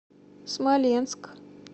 смоленск